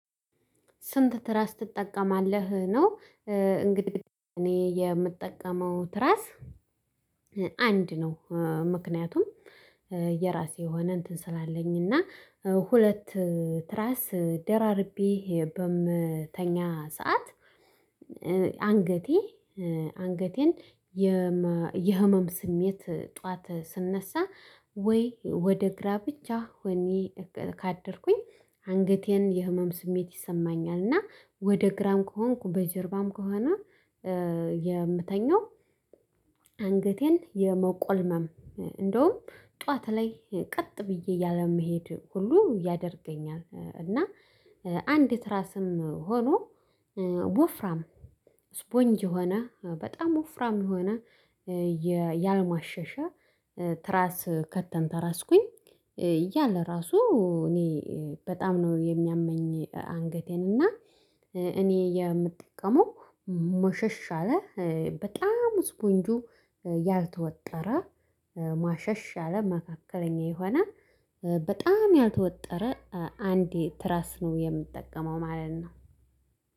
ስንት ትራስ ትጠቀማለህ ነው እንግዲህ እኔ የምጠቀመው ትራስ አንድ ነው። ምክንያቱም የራሴ የሆነ እንትን ስላለኝ እና ሁለት ትራስ ደራርቤ በምተኛ ሰዓት አንገቴ አንገቴን የህመም ስሜት ጠዋት ስነሳ ወይ ወደ ግራ ብቻ ሆኔ ካደርኩኝ አንገቴን የህመም ስሜት ይሰማኛል እና ወደ ግራም ከሆንኩ በጀርባም ከሆነ የምተኛው አንገቴን የመቆልመም እንደውም ጠዋት ላይ ቀጥ ብዬ ያለመሄድ ሁሉ ያደርገኛል እና አንድ ትራስም ሆኖ ወፍራም ስፖንጅ የሆነ በጣም ወፍራም የሆነ ያልማሸሸ ትራስ ከተንተራስኩኝ እያለ ራሱ እኔ በጣም ነው የሚያመኝ አንገቴን እና እኔ የምጠቀመው ሞሸሽ አለ በጣም ስፖንጁ ያልተወጠረ ማሸሽ ያለ መካከለኛ የሆነ በጣም ያልተወጠረ አንድ ትራስ ነው የምጠቀመው ማለት ነው